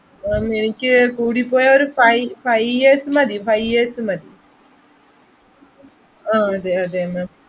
ma'am എനിക്ക് കൂടിപ്പോയാൽ ഒര് five, five years മതി five years മതി ആഹ് അതേ അതേ ma'am